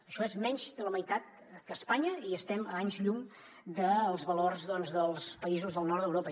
això és menys de la meitat que a espanya i estem a anys llum dels valors doncs dels països del nord d’europa